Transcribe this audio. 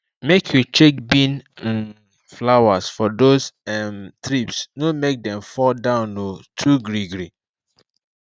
make you check bean um flowers for those um trips no make dem fall down um too greegree